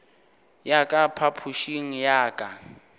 ya ka phapošing ya ka